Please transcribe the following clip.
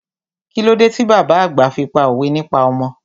Kílódé ti bàbá àgbà fi pá òwe nípa ọmọ?